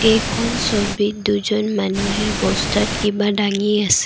এইখন ছবিত দুজন মানুহে বস্তাত কিবা দাঙি আছে।